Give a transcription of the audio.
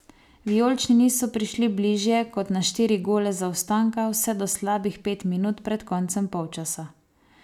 Vijolični niso prišli bližje kot na štiri gole zaostanka vse do slabih pet minut pred koncem polčasa.